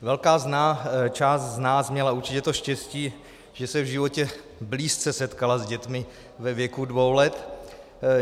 Velká část z nás měla určitě to štěstí, že se v životě blízce setkala s dětmi ve věku dvou let.